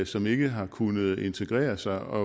som ikke har kunnet integrere sig og